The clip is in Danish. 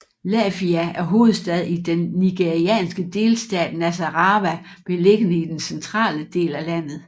Lafia er hovedstad i den nigerianske delstat Nassarawa beliggende i den centrale del af landet